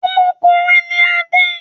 Ọmọkùnrin ni Adé.